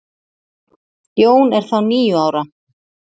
Jón er þá níu ára.